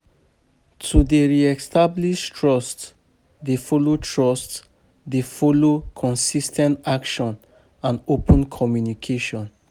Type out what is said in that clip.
To dey re-establish trust dey follow trust dey follow consis ten t action and open communication.